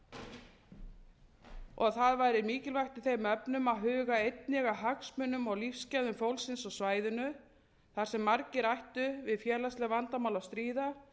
í kjölfar hlýnunar það væri mikilvægt í þeim efnum að huga einnig að hagsmunum og lífsgæðum fólksins á svæðinu þar sem margir ættu við félagsleg vandamál að stríða